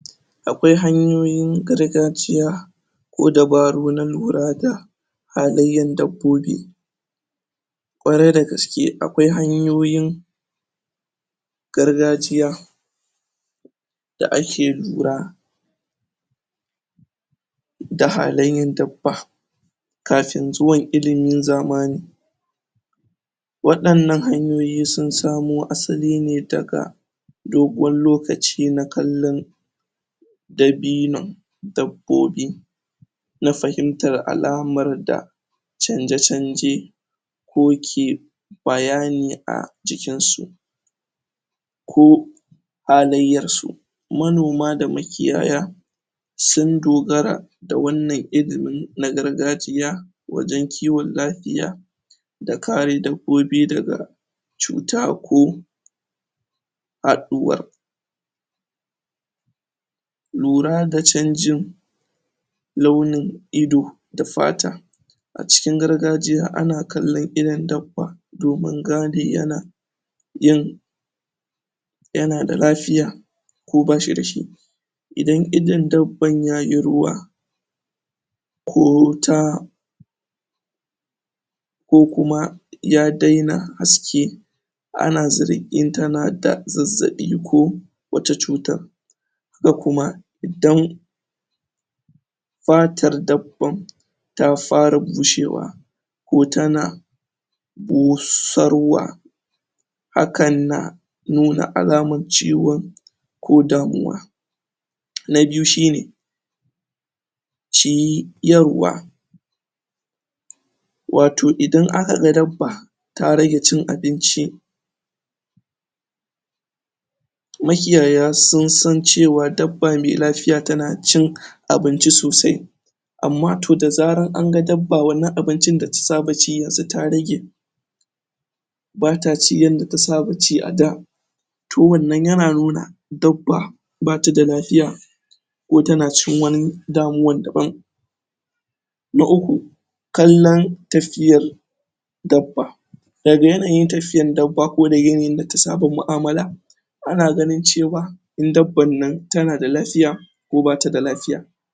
a kwai hanyoyin gargagiya ko dabaru na lurada halaiyan dabbobi kwarai da gaske akwai hanyoyin gargajiya da a ke lura da halaiyan dabba kafin zuwan ilimin zamani wadan nan hanyoyi sun samo asaline daga doguwan lokaci na kalllon dabinon dabbobi na fahimtan alamar da chanje chanje ko ke bayani a jikin su ko halaiyan su, manoma da makiyaya sun dogara da wan nan ilimi na gargajiya wajen kiwon lafiya da kare dabbobi daga cuta ko faduwa lura da changin launin ido da fata a cikin gargajjiya ana kallon idon dabba domin gane yana yin yana da lafiya ko bashida shi idan idon dabban yayi ruwa ko ta ko kuma ya daina haske ana zara din tana da zazzabi ko wato cutan haka kuma idan fatar dabban ta fara bushewa ko tana busarwa hakan na nuna alaman ciwo ko damuwa na biyu shine ciyarwa wato idan aka ga dabba ta rage cin abinci makiyaya sun san cewa dabba mai lafiya tana cin abinci sosai amma da zaran anga dabba wan nan abin cin da ta saba ci ta rage bata ci yadda ta saba ci a da to wan nan yana nuna dabba ba tada lafiya ko tan cikin wani damuwan da ban na uku kanlon tafiyan dabba da ga yanayin tafiyan dabba, ko daga yanayin da ta samu muamala ana ganin cewa, in dabban nan tan da lafiya